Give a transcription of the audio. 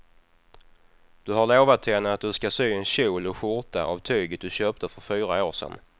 Du har lovat henne att du ska sy en kjol och skjorta av tyget du köpte för fyra år sedan.